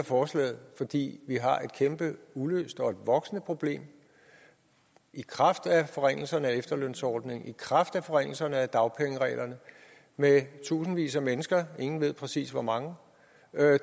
forslaget fordi vi har et kæmpe uløst og voksende problem i kraft af forringelserne af efterlønsordningen i kraft af forringelserne af dagpengereglerne med tusindvis af mennesker ingen ved præcis hvor mange